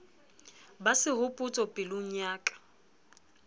ba sehopotso pelong ya ka